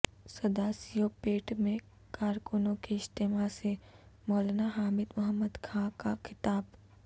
سداسیو پیٹ میں کارکنوں کے اجتماع سے مولانا حامد محمد خاں کا خطاب